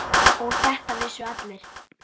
Og þetta vissu allir.